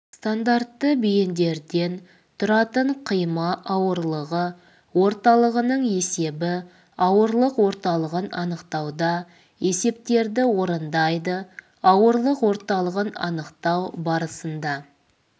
стандартты бейіндерден тұратын қима ауырлығы орталығының есебі ауырлық орталығын анықтауда есептерді орындайды ауырлық орталығын анықтау барысында